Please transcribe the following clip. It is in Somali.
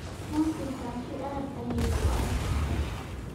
Runtii taasi aad ayay u adag tahay.